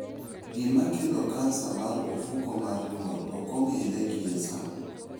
Gima kelo kansa mar ofuko mar nyuol ok ong'ere gie sani.